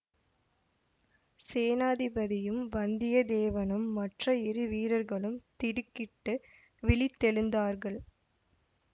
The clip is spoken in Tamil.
சேநாதிபதியும் வந்தியத்தேவனும் மற்ற இரு வீரர்களும் திடுக்கிட்டு விழித்தெழுந்தார்கள்